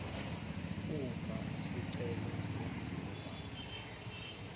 uma isicelo senziwa